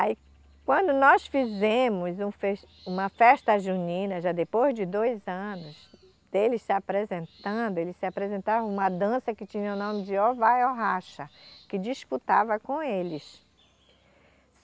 Aí, quando nós fizemos um uma festa junina, já depois de dois anos deles se apresentando, eles se apresentavam uma dança que tinha o nome de Ou vai ou racha, que disputava com eles.